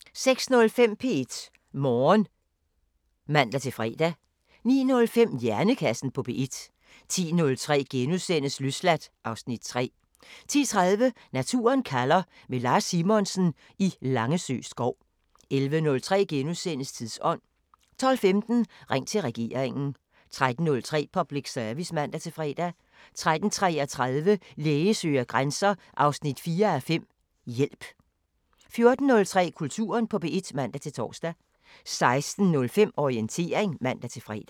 06:05: P1 Morgen (man-fre) 09:05: Hjernekassen på P1 10:03: Løsladt (Afs. 3)* 10:30: Naturen kalder – med Lars Simonsen i Langesø skov 11:03: Tidsånd * 12:15: Ring til regeringen 13:03: Public Service (man-fre) 13:33: Læge søger grænser 4:5 – Hjælp 14:03: Kulturen på P1 (man-tor) 16:05: Orientering (man-fre)